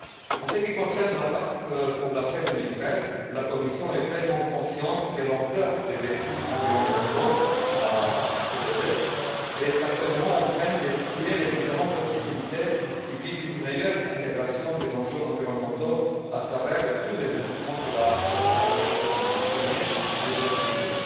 En ce qui concerne la PAC pour l'après 2013, la Commission est pleinement consciente de l'ampleur des défis environnementaux à soulever et est actuellement en train d'étudier les différentes possibilités qui visent une meilleure intégration des enjeux environnementaux à travers tous les instruments de la politique agricole commune, du premier comme du deuxième pilier.